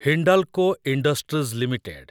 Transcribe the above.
Hindalco industries limited